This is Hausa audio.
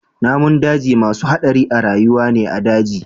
Namun daji masu hadari a rayuwa ne a daji.